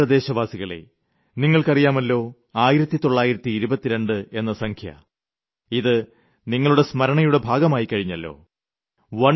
എന്റെ പ്രിയപ്പെട്ട ദേശവാസികളേ നിങ്ങൾക്കറിയുമല്ലോ 1922 എന്ന സംഖ്യ ഇത് നിങ്ങളുടെ സ്മരണയുടെ ഭാഗമായിക്കഴിഞ്ഞല്ലോ